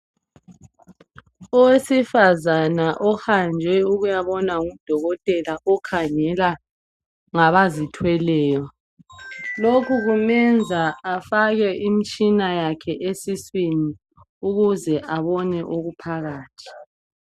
Owesifazana ohambe ukubonwa ngudokotela okhangela ngabazithweleyo lokhu kumenza afake imitshina yakhe esiswini ukuze abone okuphakathi.